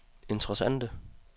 interessante